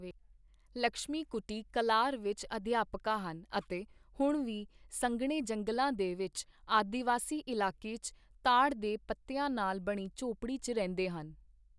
ਲਕਸ਼ਮੀਕੁੱਟੀ ਕੱਲਾਰ ਵਿੱਚ ਅਧਿਆਪਕਾ ਹਨ ਅਤੇ ਹੁਣ ਵੀ ਸੰਘਣੇ ਜੰਗਲਾਂ ਦੇ ਵਿੱਚ ਆਦਿਵਾਸੀ ਇਲਾਕੇ ਚ ਤਾੜ ਦੇ ਪੱਤਿਆਂ ਨਾਲ ਬਣੀ ਝੌਂਪੜੀ ਚ ਰਹਿੰਦੇ ਹਨ।